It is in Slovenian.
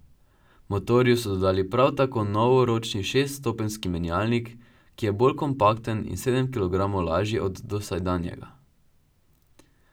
Motorju so dodali prav tako nov ročni šeststopenjski menjalnik, ki je bolj kompakten in sedem kilogramov lažji od dosedanjega.